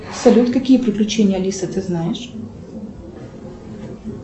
салют какие приключения алисы ты знаешь